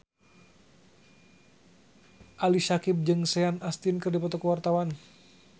Ali Syakieb jeung Sean Astin keur dipoto ku wartawan